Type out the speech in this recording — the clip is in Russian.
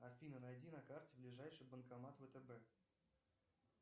афина найди на карте ближайший банкомат втб